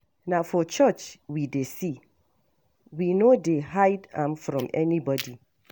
Na for church we dey see, we no dey hide am from anybody.